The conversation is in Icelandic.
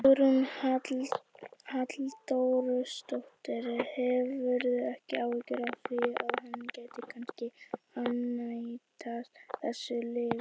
Hugrún Halldórsdóttir: Hefurðu ekki áhyggjur af því að hann gæti kannski ánetjast þessu lyfi?